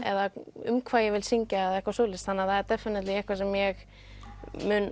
eða um hvað ég vil syngja og eitthvað svoleiðis þannig það er definitely eitthvað sem ég mun